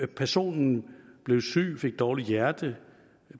personen blev syg fik dårligt hjerte